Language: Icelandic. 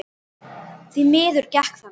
Því miður gekk það ekki.